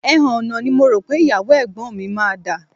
Ẹhànnà ni mo rò pé ìyàwó ẹ̀gbọ́n mi máa dà